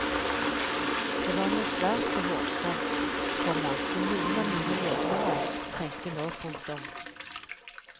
Det var nå svært så hårsårt, komma vil noen av mine lesere tenke nå. punktum